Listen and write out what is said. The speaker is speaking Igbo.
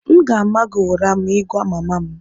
m ga-ama gị ụra ma ị gwa mama m